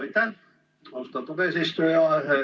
Aitäh, austatud eesistuja!